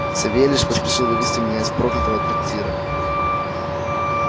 савельич поспешил вывезти меня из проклятого трактира